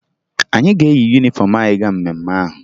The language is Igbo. Anyị ga-eyi yunifọmụ anyị gaa mmemme ahụ